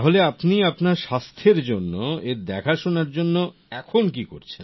তাহলে আপনি আপনার স্বাস্থের জন্য এর দেখাশোনার জন্য এখন কি করছেন